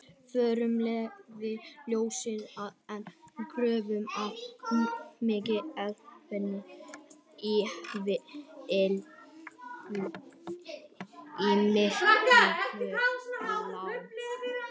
Frumglæði ljóssins, en gjörvöll mannkind meinvill í myrkrunum lá.